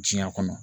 Diɲɛ kɔnɔ